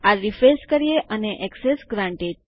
આ રીફ્રેશ કરીએ અને એક્સેસ ગ્રાન્ટેડ